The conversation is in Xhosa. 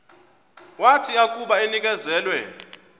wathi akuba enikezelwe